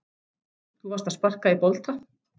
Þú varst að sparka í bolta.